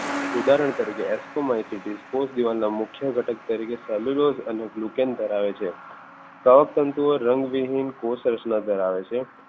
ઉદાહરણ તરીકે ascomycetes કોષદીવાલ ના મુખ્ય ઘટક તરીકે cellulose glucans ધરાવે છે કવકતંતુ રંગવિહીન કોષ રચના ધરાવે છે.